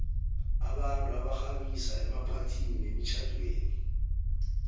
abantu abaxhabisa emaphathini nemitjhamdeni